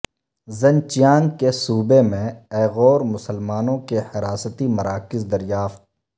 Xinjiang کے صوبہ میں ایغور مسلمانوں کے حراستی مراکز دریافت